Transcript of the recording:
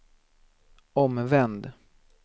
omvänd